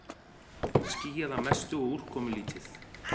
Skýjað að mestu og úrkomulítið